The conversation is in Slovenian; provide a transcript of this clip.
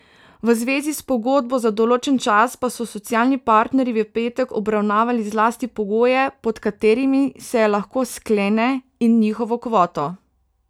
V zvezi s pogodbo za določen čas pa so socialni partnerji v petek obravnavali zlasti pogoje, pod katerimi se jo lahko sklene, in njihovo kvoto.